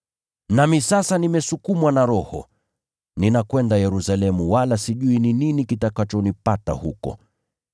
“Nami sasa nimesukumwa na Roho, ninakwenda Yerusalemu wala sijui ni nini kitakachonipata huko.